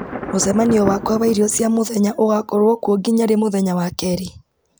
mũcemanio wakwa wa irio cia mũthenya ũgakorwo kuo nginya rĩ mũthenya wa kerĩ